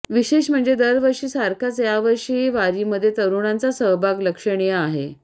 विशेष म्हणजे दरवर्षी सारखाच यावर्षीही वारीमध्ये तरुणांचा सहभाग लक्षणीय आहे